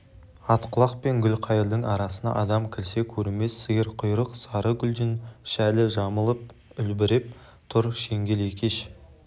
атқұлақ пен гүлқайырдың арасына адам кірсе көрінбес сиырқұйрық сары гүлден шәлі жамылып үлбіреп тұр шеңгел екеш